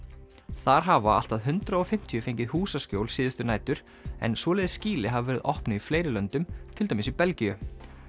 þar hafa allt að hundrað og fimmtíu fengið húsakjól síðustu nætur en svoleiðis skýli hafa verið opnuð í fleiri löndum til dæmis í Belgíu